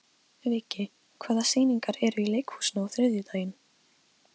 Viggi, hvaða sýningar eru í leikhúsinu á þriðjudaginn?